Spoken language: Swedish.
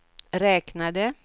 räknade